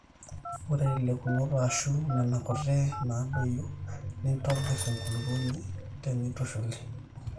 ore ilekunot aashu nena kuti naadoyio nitobir enkulukuoni teneitushuli